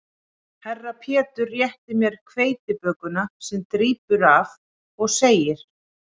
Herra Pétur réttir mér hveitibökuna sem drýpur af og segir